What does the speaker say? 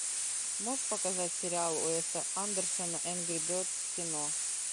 можешь показать сериал уэса андерсона энгри бердс в кино